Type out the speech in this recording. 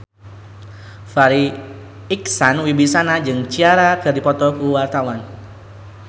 Farri Icksan Wibisana jeung Ciara keur dipoto ku wartawan